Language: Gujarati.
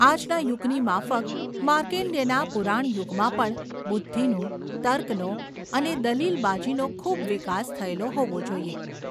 આજના યુગની માફક માર્ણ્ડેયના પુરાણયુગમાં પણ બુદ્ધિનો, તર્કનો અને દલીલ બાજીનો ખૂબ વિકાસ થયેલો હોવો જોઈએ.